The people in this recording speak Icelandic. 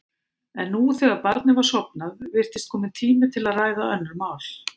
En nú, þegar barnið var sofnað, virtist kominn tími til að ræða önnur mál.